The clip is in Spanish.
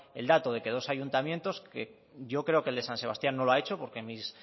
el dato de que dos ayuntamientos que yo creo que el de san sebastián no lo ha hecho porque